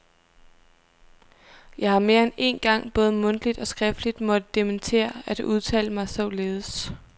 Jeg har mere end én gang både mundtligt og skriftligt måtte dementere at have udtalt mig således.